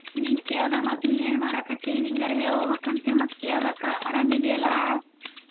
ನಿಂಗ ಕೇಳ್ದೆ ಮತ್ತ್ ನೀ ಏನ ಮಾಡಾಕತ್ತಿ ನಿಂಗರ ಹೇಳಿ ಹೋಗ್ಬೇಕ ಅಂತ ಮತ್ತ್ ಕೆಳ್ಬೇಕ ಅರಾಮ ಇದಿ ಅಲ್ಲಾ?